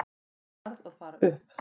Ég varð að fara upp.